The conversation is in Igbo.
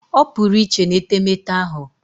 Opuru iche n'etemeete ahu